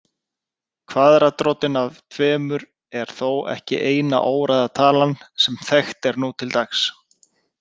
Kvaðratrótin af tveimur er þó ekki eina óræða talan sem þekkt er nú til dags.